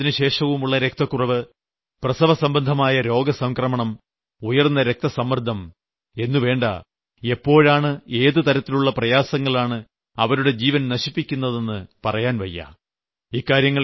ഗർഭാവസ്ഥയിലും അതിനുശേഷവുമുള്ള രക്തക്കുറവ് പ്രസവസംബന്ധമായ രോഗസംക്രമണം ഉയർന്ന രക്തസമ്മർദ്ദം എന്നുവേണ്ട എപ്പോഴാണ് ഏത് തരത്തിലുള്ള പ്രയാസങ്ങളാണ് അവരുടെ ജീവൻ നശിപ്പിക്കുന്നതെന്ന് പറയാൻവയ്യ